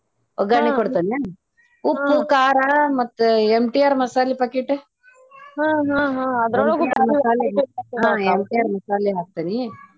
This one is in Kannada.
ಒಗ್ಗರಣೆ ಕೊಡ್ತೇನ್ನೆನ್ ಉಪ್ಪು, ಖಾರ ಮತ್ತೆ MTR ಮಸಾಲೆ packet MTR ಮಸಾಲೆ ಹಾಕ್ತೇನಿ.